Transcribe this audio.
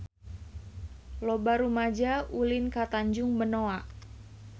Loba rumaja ulin ka Tanjung Benoa